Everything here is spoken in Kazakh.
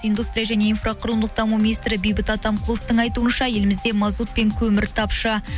индустрия және инфроқұрылымдық даму министрі бейбіт атамқұловтың айтуынша елімізде мазут пен көмір тапшы